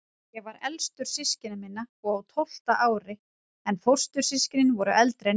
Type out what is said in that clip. Ég var elstur systkina minna, á tólfta ári, en fóstur- systkinin voru eldri en ég.